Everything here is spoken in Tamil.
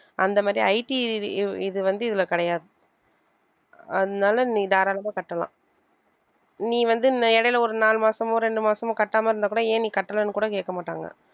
அந்த மாதிரி IT இது இது இது வந்து இதுல கிடையாது அதனால நீ தாராளமா கட்டலாம் நீ வந்து இந்த இடையில ஒரு நாலு மாசமோ ரெண்டு மாசமோ கட்டாம இருந்தா கூட ஏன் நீ கட்டலைன்னு கூட கேட்க மாட்டாங்க